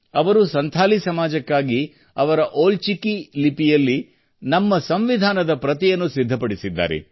ಅವರು ಸಂಥಾಲಿ ಸಮಾಜಕ್ಕಾಗಿ ಅವರ ಓಲ್ ಚಿಕೀ ಲಿಪಿಯಲ್ಲಿ ನಮ್ಮ ಸಂವಿಧಾನದ ಪ್ರತಿಯನ್ನು ಸಿದ್ಧಪಡಿಸಿದ್ದಾರೆ